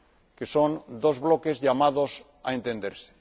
que son dos bloques llamados a entenderse.